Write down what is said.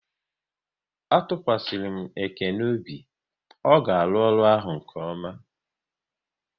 A tụkwasịrị m Ekene obi, ọ ga-arụ ọrụ ahụ nke ọma